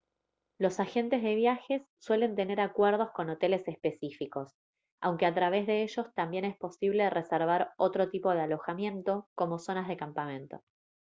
los agentes de viajes suelen tener acuerdos con hoteles específicos aunque a través de ellos también es posible reservar otro tipo de alojamiento como zonas de campamento